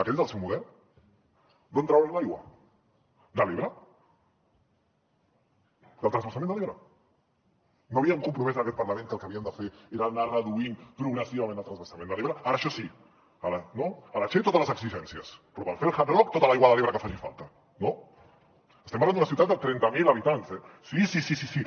aquest és el seu model d’on trauran l’aigua de l’ebre del transvasament de l’ebre no ens havíem compromès en aquest parlament que el que havíem de fer era anar reduint progressivament el transvasament de l’ebre ara això sí a la che totes les exigències però per fer el hard rock tota l’aigua de l’ebre que faci falta no estem parlant d’una ciutat de trenta mil habitants eh sí sí sí sí sí